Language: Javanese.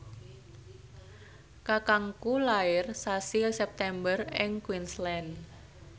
kakangku lair sasi September ing Queensland